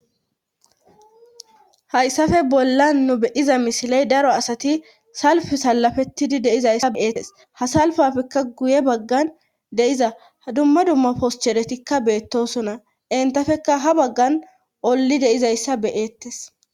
Hayssafe bolla nu bediza misiley daro asati salfu sallafettidi deizayssa beeettes hasalfafekka guye baggan deiza hdumma dumma poscheretikka beettosona entafekka ha baggan olli deizayssa beyeettes.